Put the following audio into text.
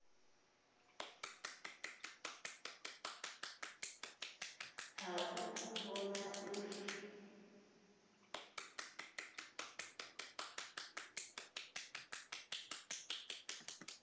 ha u u vhona uri